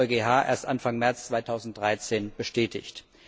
Dies hat der EuGH erst Anfang März 2013 bestätigt.